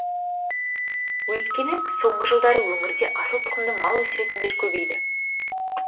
өйткені соңғы жылдары өңірде асыл тұқымды мал өсіретіндер көбейді